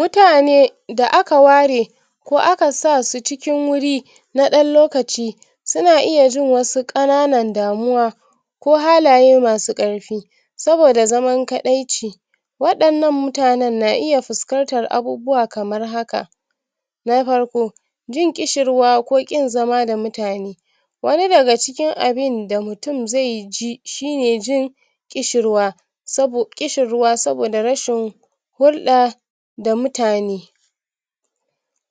yatane da aka ware ko aka sasu cikin wuri na dan lokaci suna iya jin wasu ƙanan damuwa ko halaye masu karfi saboda zamankadaici waɗanan mutane na iya fuskantar abubuwa kamar haka na farko jin ƙishirwa ko ƙin zama da mutane wani daga cikin abin da mutun ze ji shine jin ƙishirwa sabo[um] ƙishirwa saboda rashin hulɗa da mutane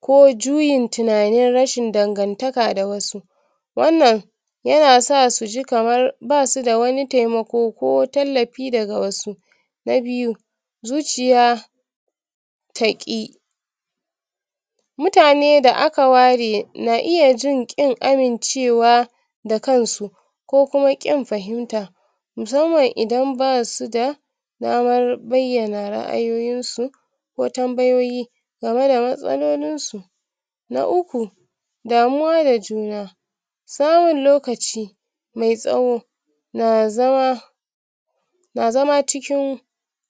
ko juyin tunanin rashin dangantaka da wasu wannan yana sa suji kamar basu da wani temako ko tallafi daga wasu na biyu zuciya taƙi mutane da aka ware na iya jin ƙin amimcewa da kansu ko kuma ƙin fahimta musamman idan basu da damar bayyana ra'ayoyin su ko tambayoyi gameda matsalolin su na uku damuwa da juna samun lokaci me tsawo na zama na zam cikin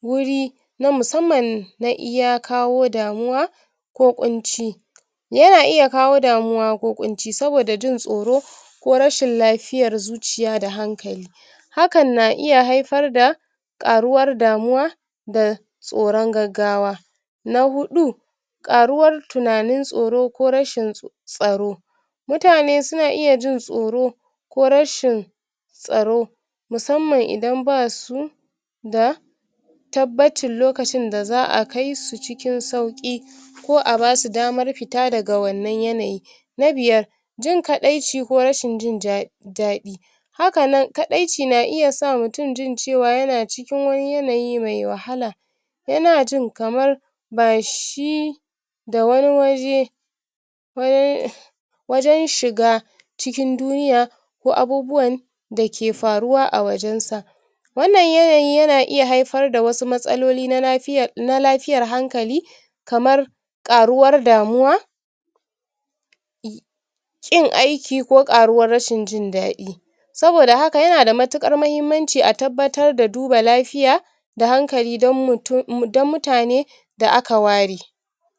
wuri na musamman na iya kawo damuwa ku kunci yana iya kawo damuwa ko kunci saboda jin tsoro ko rashin lafiyar zuciya da hankali hakan na iya haifar da ƙaruwar damuwa da tsoron gaggawa na huɗu ɗaruwar tunanin tsoro ko rashin tsaro mutane suna iya jin tsoro ko rashin tsaro musamman idan basu da tabbacin lokacin da za'a kaisu cikin sauƙi ko abasu damar fita daga wannan yanayin na biyar jin kaɗaicii ko rashin jin daɗi hakana n kaɗaici na iya sa mutun jin cewa yana cikin wani yanayi mai wahala yana jin kamar bashi da wani waje wajan shiga cikin duniya ko abubuwan dake faruwa a wajen sa wanan yanayi yana iya haifar da wasu matsaloli na nafiya[um] na lafiyar hankali kamar aruwar damuwa in aiki koaruwar rashin jin dadi saboda haka yanada mutuar mahimmanci a tabbatar da duba lafiya da hankali don mutu[um] don mutane da aka ware